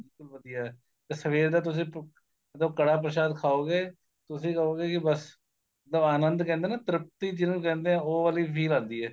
ਵਧੀਆ ਸਵੇਰ ਦੇ ਤੁਸੀਂ ਜਦੋਂ ਕੜ੍ਹਾਹ ਪ੍ਰਸ਼ਾਦ ਖਾਉਗੇ ਤੁਸੀਂ ਕਹੋਗੇ ਜੀ ਬੱਸ ਆਨੰਦ ਕਹਿੰਦੇ ਏ ਨਾ ਤ੍ਰਿਪਤੀ ਜਿੰਹਨੂ ਕਹਿੰਦੇ ਏ ਉਹ ਵਾਲੀ feel ਆਂਦੀ ਏ